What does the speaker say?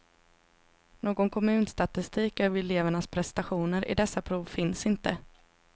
Någon kommunstatistik över elevernas prestationer i dessa prov finns inte.